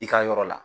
I ka yɔrɔ la